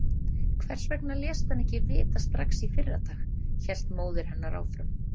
Hvers vegna léstu hann ekki vita strax í fyrradag, hélt móðir hennar áfram.